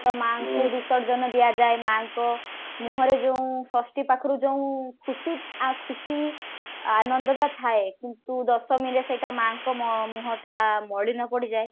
ତ ମାଆଙ୍କୁ ବିସର୍ଜନ ଦିଆଯାଏ ମାଆଙ୍କ ମୁହଁରେ ଯଉଁ ଷଷ୍ଠୀ ପାଖରୁ ଯଉଁ ଖୁସି ଆ ଖୁସି ଆନନ୍ଦ ଟା ଥାଏ କିନ୍ତୁ ଦଶମୀ ରେ ସେଟା ମାଆଙ୍କ ମ ମୁହଁ ଟା ମଳିନ ପଡିଯାଏ